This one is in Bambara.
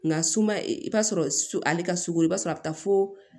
Nka suma i bɛ t'a sɔrɔ su ale ka sugoro i b'a sɔrɔ a bɛ taa fo